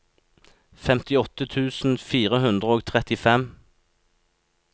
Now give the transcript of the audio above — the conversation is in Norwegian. femtiåtte tusen fire hundre og trettifem